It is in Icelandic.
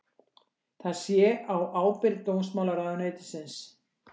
Það sé á ábyrgð dómsmálaráðuneytisins